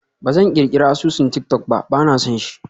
Ba zan ƙirƙirar asusun tik-tok ba, ba na son shi.